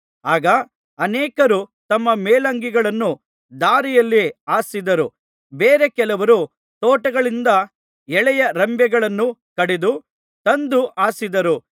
ಆಗ ಅನೇಕರು ತಮ್ಮ ಮೇಲಂಗಿಗಳನ್ನು ದಾರಿಯಲ್ಲಿ ಹಾಸಿದರು ಬೇರೆ ಕೆಲವರು ತೋಟಗಳಿಂದ ಎಳೆಯ ರೆಂಬೆಗಳನ್ನು ಕಡಿದು ತಂದು ಹಾಸಿದರು